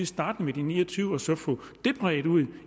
starte med de ni og tyve og så få det bredt ud